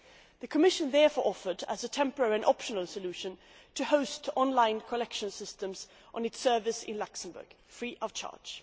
The Commission therefore offered, as a temporary and optional solution, to host online collection systems on its servers in Luxembourg, free of charge.